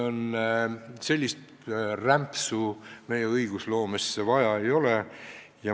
Sellist rämpsu meie õigusloomesse vaja ei ole.